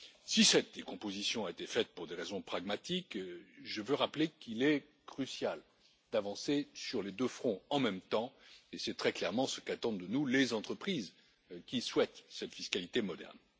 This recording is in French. Si cette décomposition a été faite pour des raisons pragmatiques, je veux rappeler qu'il est crucial d'avancer sur les deux fronts en même temps et c'est très clairement ce qu'attendent de nous les entreprises qui souhaitent cette fiscalité moderne.